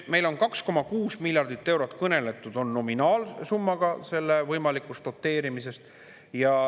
Meil on 2,6 miljardit eurot, kõneletud on nominaalsummast, võimalikust doteerimisest.